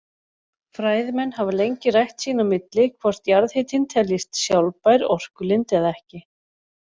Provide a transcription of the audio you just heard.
Fræðimenn hafa lengi rætt sín á milli hvort jarðhitinn teljist sjálfbær orkulind eða ekki.